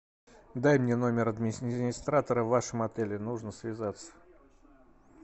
дай мне номер администратора в вашем отеле нужно связаться